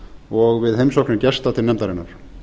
og við heimsóknir gesta til nefndarinnar